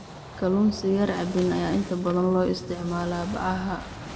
Kalluun sigaar cabbin ayaa inta badan loo isticmaalaa bacaha.